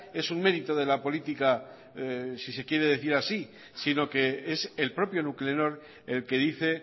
es un mérito de la política si se quiere decir así sino que es el propio nuclenor el que dice